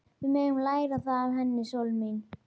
Við megum læra það af henni, sólin mín.